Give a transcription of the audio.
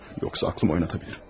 Yoxsa ağlımı itirə bilərəm.